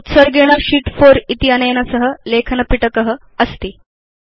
तत्र उत्सर्गेण शीत् 4 इत्यनेन सह लेखनपिटक अस्ति